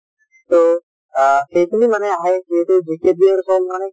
তো আ এইখিনিয়ে মানে আহে মানে যিহেতু মানে